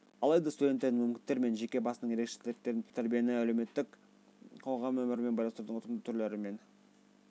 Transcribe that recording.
алайда студенттердің мүмкіндіктері мен жеке басының ерекшеліктерін ескере отырып тәрбиені әлеуметтік қоғам өмірімен байланыстырудың ұтымды түрлері мен